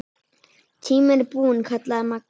Tíminn er búinn kallaði Magga.